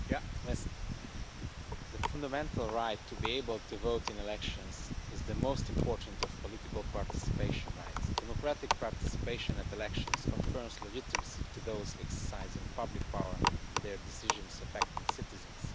Mr President, the fundamental right to be able to vote in elections is the most important of political participation rights. Democratic participation at elections confers legitimacy to those exercising public power and their decisions affecting citizens.